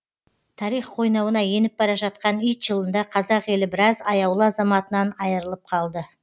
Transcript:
тарих қойнауына еніп бара жатқан ит жылында қазақ елі біраз аяулы азаматынан айырылып қалды